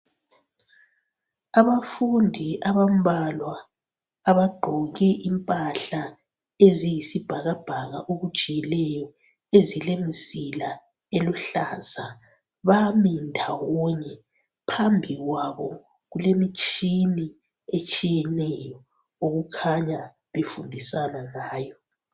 Abafundi abambalwa abagqoke impahla eziyisibhakabhaka okujiyileyo ezilemzila eluhlaza. Bami ndawonye phambi kwabo kulemitshina etshiyeneyo okukhanya befundisana ngayo